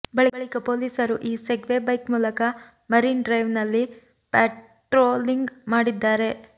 ಬಳಿಕ ಪೊಲೀಸರು ಈ ಸೆಗ್ವೇ ಬೈಕ್ ಮೂಲಕ ಮರಿನ್ ಡ್ರೈವ್ನಲ್ಲಿ ಪ್ಯಾಟ್ರೋಲಿಂಗ್ ಮಾಡಿದ್ದಾರೆ